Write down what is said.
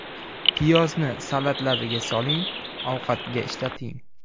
Piyozni salatlarga soling, ovqatga ishlating.